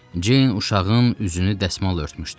Ceyn uşağın üzünü dəsmal örtmüşdü.